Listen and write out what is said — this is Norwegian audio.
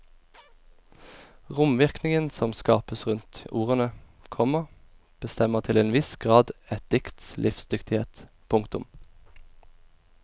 Romvirkningen som skapes rundt ordene, komma bestemmer til en viss grad et dikts livsdyktighet. punktum